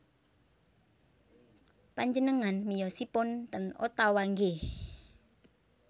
Panjenengan miyosipun ten Ottawa nggih